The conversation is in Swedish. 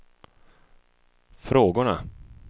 frågorna